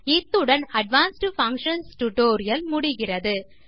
இத்துடன் advanced functions tutorial முடிகிறது